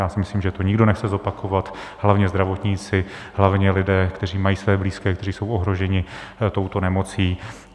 Já si myslím, že to nikdo nechce zopakovat, hlavně zdravotníci, hlavně lidé, kteří mají své blízké, kteří jsou ohroženi touto nemocí.